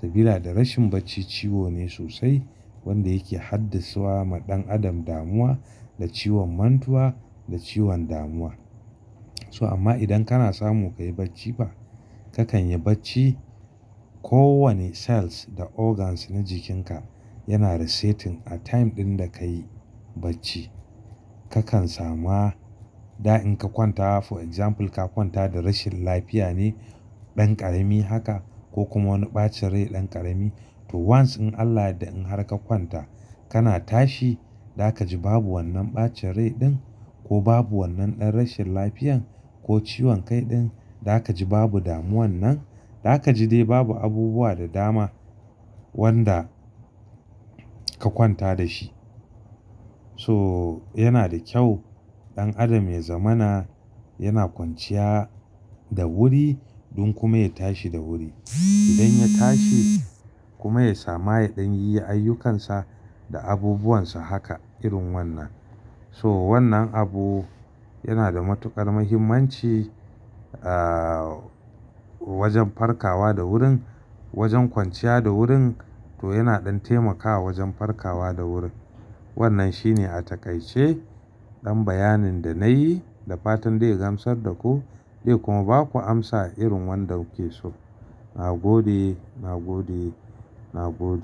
Sabila da rashin bacci ciwo ne sosai wanda yake haddasuwa ma ɗan adam damuwa da ciwon mantuwa da ciwon damuwa. So amma idan kana samu kayi bacci fa, kakan yi bacci kowanne cells da organs na jikinka yana resetting a time ɗin da ka yi bacci. Kakan sama, da in ka kwanta for example ka kwanta da rashin lafiya ne ɗan ƙarami haka ko kuma wani ɓacin rai ɗan ƙarami, to once in Allah ya yadda in har ka kwanta kana tashi, zaka ji babu wannan ɓacin rai ɗin ko babu wannan ɗan rashin lafiyan ko ciwon kai ɗin. Zaka ji babu damuwan nan, zaka ji dai babu abubuwa da dama wanda ka kwanta da shi. To yana da kyau ɗan adam ya zamana yana kwanciya da wuri dan kuma ya tashi da wuri. Idan ya tashi kuma ya sama ya ɗan yi ayyukansa da abubuwansa haka irin wannan. To wannan abu yana da matuƙar muhimmanci, ah wajan farkawa da wurin, wajan kwanciya da wurin to yana ɗan taimakawa wajan farkawa da wurin. Wannan shine a taƙaice ɗan bayanin da nayi da fatan zai gamsar da ku zai kuma baku amsa irin wanda kuke so. Na gode, na gode, na gode.